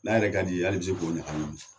N'a yɛrɛ ka di ye hali i bi se k'o ɲaka ɲimi .